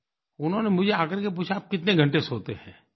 उन्होंने मुझे आकर के पूछा आप कितने घंटे सोते हैं